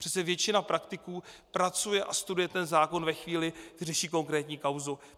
Přece většina praktiků pracuje a studuje ten zákon ve chvíli, kdy řeší konkrétní kauzu.